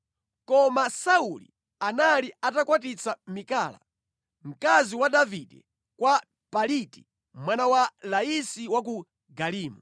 Koma Sauli anali atakwatitsa Mikala, mkazi wa Davide kwa Paliti mwana wa Laisi wa ku Galimu.